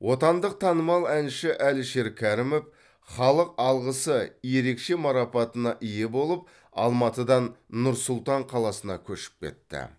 отандық танымал әнші әлішер кәрімов халық алғысы ерекше марапатына ие болып алматыдан нұр сұлтан қаласына көшіп кетті